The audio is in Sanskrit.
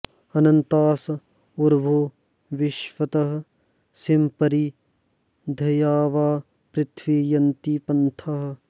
अ॒न॒न्तास॑ उ॒रवो॑ वि॒श्वतः॑ सीं॒ परि॒ द्यावा॑पृथि॒वी य॑न्ति॒ पन्थाः॑